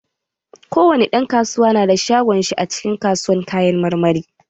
Kowani ɗan kasuwa nada shagon shi a cikin kasuwan kayan marmari.